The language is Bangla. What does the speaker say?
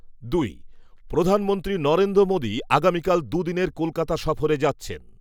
দুই প্রধানমন্ত্রী নরেন্দ্র মোদী আগামীকাল দু'দিনের কলকাতা সফরে যাচ্ছেন।